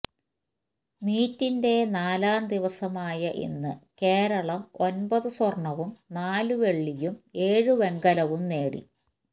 മീറ്റിന്റെ നാലാം ദിവസമായ ഇന്ന് കേരളം ഒമ്പത് സ്വര്ണവും നാല് വെള്ളിയും ഏഴ് വെങ്കലവും നേടി